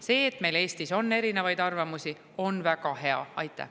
See, et meil Eestis on erinevaid arvamusi, on väga hea!